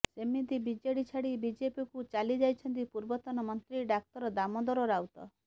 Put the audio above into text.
ସେମିତି ବିଜେଡି ଛାଡି ବିଜେପିକୁ ଚାଲିଯାଇଛନ୍ତି ପୂର୍ବତନ ମନ୍ତ୍ରୀ ଡାକ୍ତର ଦାମୋଦର ରାଉତ